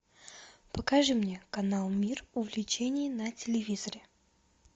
покажи мне канал мир увлечений на телевизоре